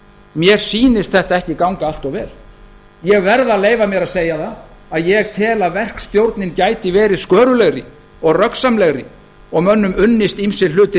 mér sýnist þetta ekki ganga allt of vel ég verð að leyfa mér að segja það að ég tel að verkstjórnin gæti verið sköruglegri og röggsamlegri og mönnum unnist ýmsir fluttir